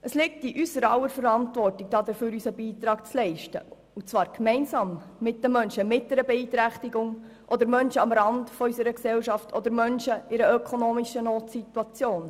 Es liegt in unser aller Verantwortung, unseren Beitrag dazu zu leisten, und zwar gemeinsam mit den Menschen mit einer Beeinträchtigung oder mit den Menschen am Rand unserer Gesellschaft oder mit den Menschen in einer ökonomischen Notsituation.